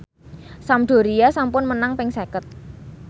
Sampdoria sampun menang ping seket